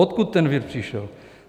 Odkud ten vir přišel.